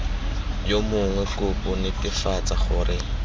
yo mongwe kopo netefatsa gore